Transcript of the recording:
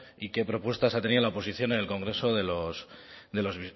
y qué propuestas ha tenido la oposición en el congreso de los